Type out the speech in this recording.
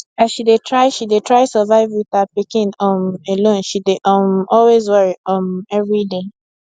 as she dey try she dey try survive with her pikin um alone she dey um always worry um every day